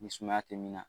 Ni sumaya tɛ min na